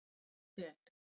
Jói Fel.